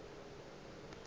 ka moka di be di